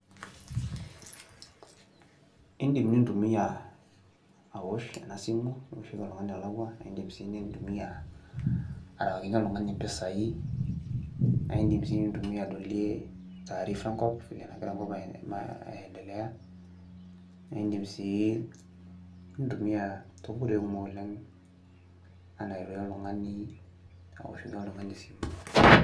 Indim nintumia awosh ena simu niwoshoki oltung'ani olakua, nindim sii nintumia arewakinye oltung'ani impisai, nae indim sii nintumia adolie taarifa enkop vile negira enkop aindelea. Naake indim sii nintumia tonkoitoi kumok oleng' enaa airorie oltung'ani, aoshoki oltung'ani esimu..